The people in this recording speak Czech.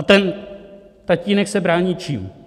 A ten tatínek se brání čím?